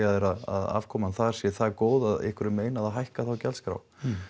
þeir að afkoman þar sé það góð að ykkur er meinað að hækka þá gjaldskrá